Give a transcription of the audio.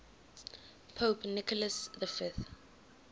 pope nicholas v